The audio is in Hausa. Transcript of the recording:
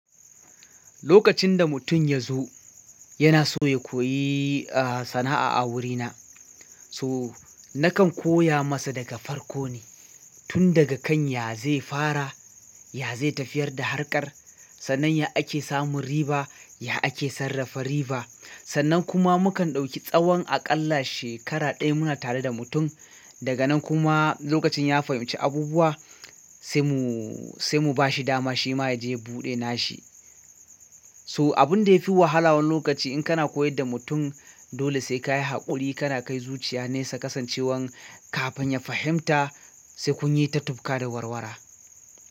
Lokacin da mutum ya zo yana so ya koyi, sana'a a wurina. So nakan koya masa daga farko ne tun daga kan ya zai fara ya zai tafiyar da harkar. Sannan ya ake samun riba, ya ake sarrafa riba. Sannan kuma mukan ɗauki tsawon aƙalla shekara ɗaya muna tare da mutum. Daga nan kuma lokacin ya fahimci abubuwa sai mu sai mu ba shi dama shi ma ya je buɗe nashi. So abun da ya fi wahala wan lokaci in kana koyar da mutum dole sai ka yi haƙuri kana kai zuciya nesa kasancewan kafin ya fahimta sai kun yi ta tufka da warwara.